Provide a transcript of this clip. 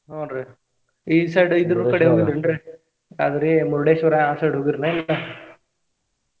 ಹೂನ್ರೀ ಈ side ಇದ್ರ್ ಕಡೆ ಹೋಗಿದ್ರಿ ಏನ್ರೀ ಯಾದ್ರಿ Murdeshwar ಆ side ಹೋಗಿರ ಏನ ಇಲ್ಲಾ?